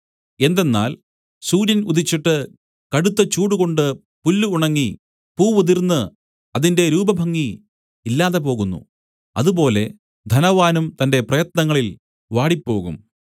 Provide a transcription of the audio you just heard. എന്തെന്നാൽ സൂര്യൻ ഉദിച്ചിട്ട് കടുത്ത ചൂടുകൊണ്ട് പുല്ല് ഉണങ്ങി പൂവുതിർന്ന് അതിന്റെ രൂപഭംഗി ഇല്ലാതെ പോകുന്നു അതുപോലെ ധനവാനും തന്റെ പ്രയത്നങ്ങളിൽ വാടിപ്പോകും